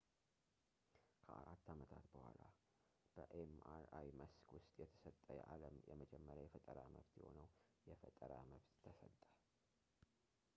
ከአራት ዓመታት በኋላ በ ኤምአርአይ መስክ ውስጥ የተሰጠ የዓለም የመጀመሪያ የፈጠራ መብት የሆነው የፈጠራ መብት ተሰጠ